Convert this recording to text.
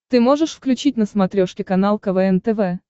ты можешь включить на смотрешке канал квн тв